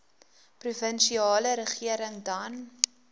provinsiale regering dan